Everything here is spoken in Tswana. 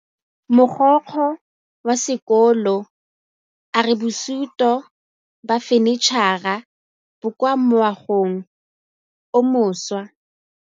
Mogokgo wa sekolo a re bosutô ba fanitšhara bo kwa moagong o mošwa.